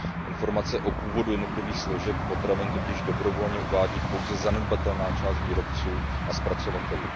Informace o původu jednotlivých složek potravin totiž dobrovolně uvádí pouze zanedbatelná část výrobců a zpracovatelů.